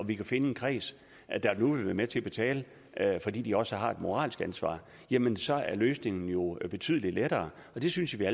vi finde en kreds der nu vil være med til at betale fordi de også har et moralsk ansvar jamen så er løsningen jo betydelig lettere og det synes jeg